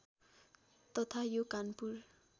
तथा यो कानपुर